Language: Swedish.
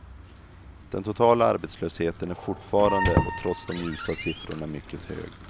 Den totala arbetslösheten är fortfarande och trots de ljusa siffrorna mycket hög.